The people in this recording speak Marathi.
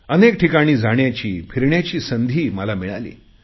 अनेक ठिकाणी जाण्याची फिरण्याची संधी मला मिळाली